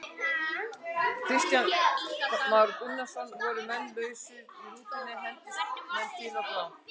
Kristján Már Unnarsson: Voru menn lausir í rútunni, hentust menn til og frá?